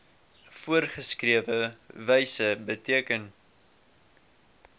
voorgeskrewe wyse beteken